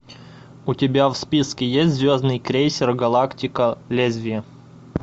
у тебя в списке есть звездный крейсер галактика лезвие